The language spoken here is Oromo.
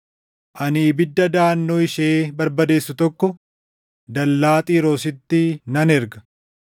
ani ibidda daʼannoo ishee barbadeessu tokko dallaa Xiiroositti nan erga.”